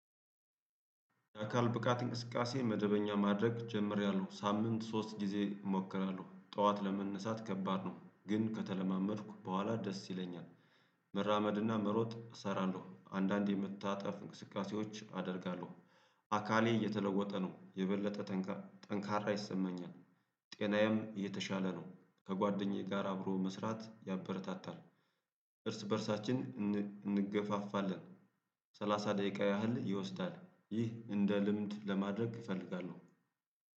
አካል ብቃት እንቅስቃሴ መደበኛ ማድረግ ጀምሬያለው ሳምንት ሶስት ጊዜ እሞክራለው ጠዋት ለመነሳት ከባድ ነው ግን ከተለማመድኩ በኋላ ደስ ይለኛል። መራመድና መሮጥ እሰራለው አንዳንዴ የመታጠፍ እንቅስቃሴዎች አደርጋለሁ። አካሌ የተለወጠ ነው የበለጠ ጠንካራ ጠንካራ ይሰማኛል። ጤናዬም የተሻለ ነው። ከጓደኛዬ ጋር አብሮ መስራት ያበረታታል። እርስ በእርሳችን እንገፋፋለን። ሰላሳ ደቂቃ ያህል ይወስዳል። ይህ እንደ ልምድ ለማድረግ እፈልጋለሁ።